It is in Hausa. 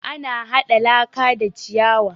Ana haɗa laka da ciyawa